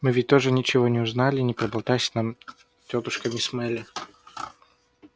мы ведь тоже ничего бы не узнали не проболтайся нам тётушка мисс мелли